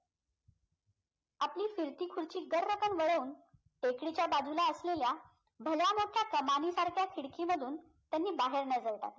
आपली फिरती गर्रकन वळवून टेकडीच्या बाजूला असलेल्या भल्यामोठ्या कामानिसारख्या खिडकीमधून त्यांनी बाहेर नझर टाकली